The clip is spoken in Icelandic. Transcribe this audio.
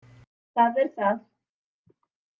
Það er það